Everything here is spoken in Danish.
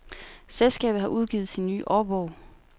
Selskabet har udgivet sin nye årbog.